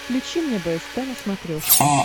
включи мне бст на смотрешке